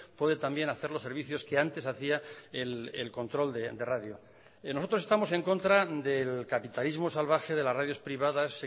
puede también hacer los servicios que antes hacía el control de radio nosotros estamos en contra del capitalismo salvaje de las radios privadas